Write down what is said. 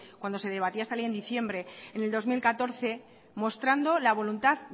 cuando se debatía esta ley en diciembre en el dos mil catorce mostrando la voluntad